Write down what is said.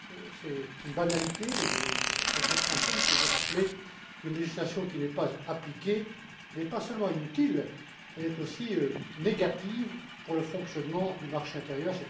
C'est une banalité, mais je le dis quand même, que de rappeler qu'une législation qui n'est pas appliquée n'est pas seulement inutile, elle est aussi négative pour le fonctionnement du marché intérieur.